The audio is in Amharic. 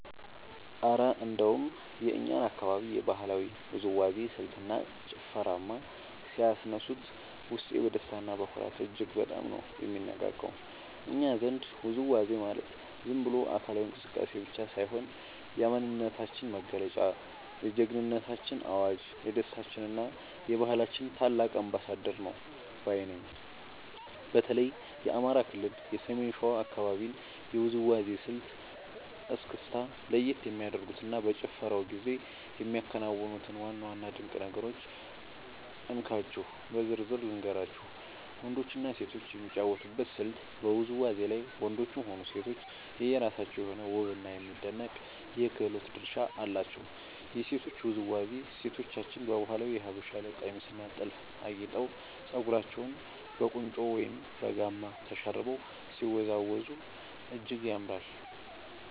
እረ እንደው የእኛን አካባቢ የባህላዊ ውዝዋዜ ስልትና ጭፈርማ ሲያነሱት፣ ውስጤ በደስታና በኩራት እጅግ በጣም ነው የሚነቃቃው! እኛ ዘንድ ውዝዋዜ ማለት ዝም ብሎ አካላዊ እንቅስቃሴ ብቻ ሳይሆን፣ የማንነታችን መገለጫ፣ የጀግንነታችን አዋጅ፣ የደስታችንና የባህላችን ታላቅ አምባሳደር ነው ባይ ነኝ። በተለይ የአማራ ክልል የሰሜን ሸዋ አካባቢን የውዝዋዜ ስልት (እስክስታ) ለየት የሚያደርጉትንና በጭፈራው ጊዜ የሚከናወኑትን ዋና ዋና ድንቅ ነገሮች እንካችሁ በዝርዝር ልንገራችሁ፦ . ወንዶችና ሴቶች የሚጫወቱበት ስልት በውዝዋዜው ላይ ወንዶችም ሆኑ ሴቶች የየራሳቸው የሆነ ውብና የሚደነቅ የክህሎት ድርሻ አላቸው። የሴቶቹ ውዝዋዜ፦ ሴቶቻችን በባህላዊው የሀበሻ ቀሚስና ጥልፍ አጊጠው፣ ፀጉራቸውን በቁንጮ ወይም በጋማ ተሸርበው ሲወዝወዙ እጅግ ያምራሉ።